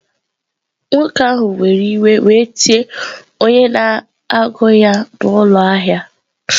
Nwoke ahụ were iwe were tie onye na-agụ ya n'ụlọ ahịa.